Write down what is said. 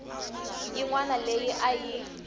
yin wana leyi a yi